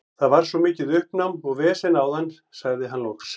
Það var svo mikið uppnám og vesen áðan, sagði hann loks.